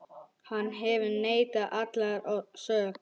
Hann hefur neitað allri sök.